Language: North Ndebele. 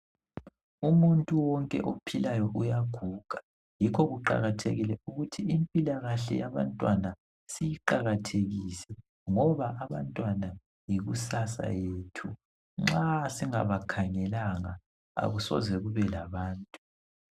Umuntu wonke ophillayo uyaguga yikho kuqakathekile ukuthi impila kahle yabantwana siyiqakathekise ngoba abantwana yikusasa lethu nxa singabakhangelanga akusoze kube labantu